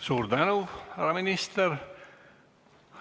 Suur tänu, härra minister!